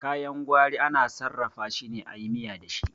Kayan gwari ana sarrafa shine ayi miya dashi